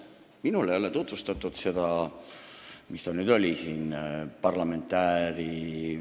Minule ei ole tutvustatud seda, mis ta nüüd oli siin, parlamentääri ...